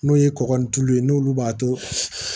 N'o ye kɔgɔ ni tulu ye n'olu b'a to